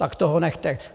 Tak toho nechte.